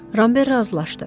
Ramber razılaşdı.